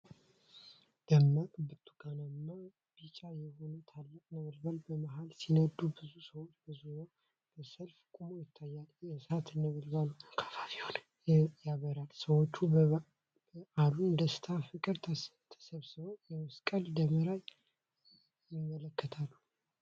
ደማቅ ብርቱካንማና ቢጫ የሆኑ ትላልቅ ነበልባሎች በመሃል ሲነዱ፤ ብዙ ሰዎች በዙሪያው በሰልፍ ቆመው ይታያሉ። የእሳት ነበልባሉ አካባቢውን ያበራል ፤ ሰዎች በበዓሉ ደስታና ፍቅር ተሰብስበው የመስቀልን ደመራ ይመለከታሉ።